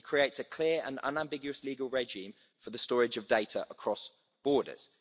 It creates a clear and unambiguous legal regime for the storage of data across borders.